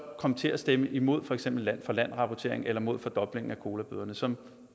kom til at stemme imod for eksempel land for land rapportering eller mod fordoblingen af colabøderne som